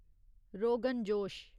rogan josh